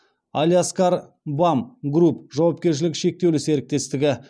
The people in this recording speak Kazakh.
алиаскар бам групп жауапкершілігі шектеулі серіктестігі